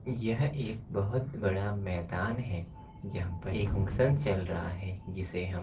यह एक बहुत बड़ा मैदान है जहां प एक फंक्शन चल रहा है जिसे हम --